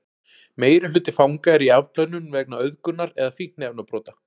meirihluti fanga er í afplánun vegna auðgunar eða fíkniefnabrota